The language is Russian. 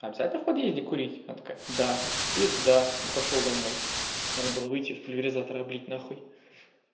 обязательно в подъезде курить она такая да пизда и пошёл домой надо было выйти с пульверизатора облить нахуй